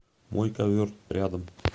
мой ковер рядом